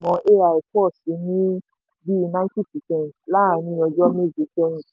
ai pọ̀ sí ní bíi ninety percent láàárín ọjọ́ méje sẹ́yìn.